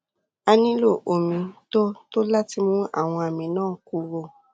a nílò omi tó tó láti mú àwọn àmì náà kúrò